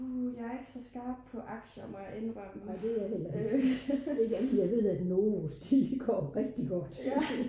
jeg er ikke så skarp på aktier må jeg indrømme